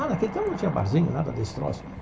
Ah, naquele tempo não tinha barzinho, nada desse troço.